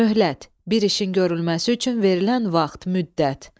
Möhlət – bir işin görülməsi üçün verilən vaxt, müddət.